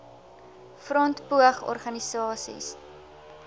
front poog organisasies